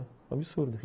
É um absurdo.